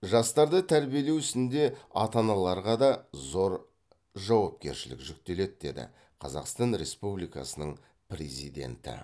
жастарды тәрбиелеу ісінде ата аналарға да зор жауапкершілік жүктеледі деді қазақстан республикасының президенті